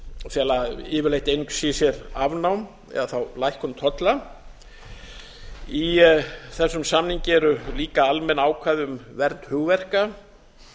fela yfirleitt einungis í sér afnám eða lækkun tolla í þessum samningi eru líka almenn ákvæði um vernd hugverka